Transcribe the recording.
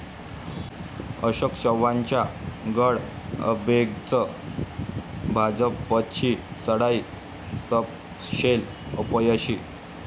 अशोक चव्हाणांचा गड अभेद्यच, भाजपची चढाई सपशेल अपयशी